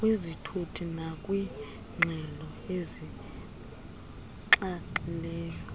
kwizithuthi nakwiingxelo ezinxaxhileyo